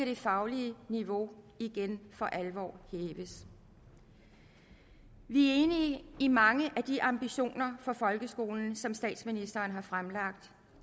det faglige niveau igen for alvor hæves vi er i mange af de ambitioner for folkeskolen som statsministeren har fremlagt